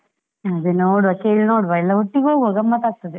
ಅದೇ ನೋಡುವ ಕೇಳಿ ನೋಡುವ, ಎಲ್ಲ ಒಟ್ಟಿಗೆ ಹೋಗುವ ಗಮ್ಮತ್ ಆಗ್ತದೆ.